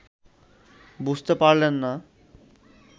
বুঝতে পারলেন না